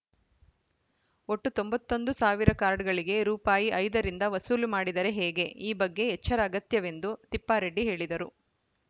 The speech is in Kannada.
ಒಟ್ಟು ತೊಂಬತ್ತ್ ಒಂದು ಸಾವಿರ ಕಾರ್ಡ್‌ಗಳಿಗೆ ರೂಪಾಯಿ ಐದರಿಂದ ವಸೂಲಿ ಮಾಡಿದರೆ ಹೇಗೆ ಈ ಬಗ್ಗೆ ಎಚ್ಚರ ಅಗತ್ಯವೆಂದು ತಿಪ್ಪಾರೆಡ್ಡಿ ಹೇಳಿದರು